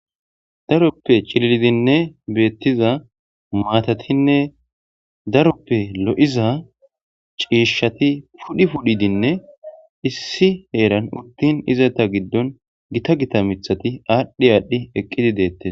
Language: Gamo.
Daaroppe cillildine bettiza maatatine daaroppe loiza cishshati pudhi pudhidine issi heeran uttin izzeta giidon giita giita miththati adhi adhi eqqidi dettes.